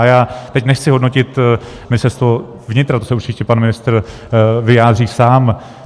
A já teď nechci hodnotit Ministerstvo vnitra, to se určitě pan ministr vyjádří sám.